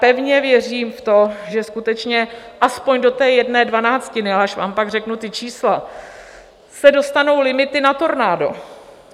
Pevně věřím v to, že skutečně aspoň do té jedné dvanáctiny, až vám pak řeknu ta čísla, se dostanou limity na tornádo.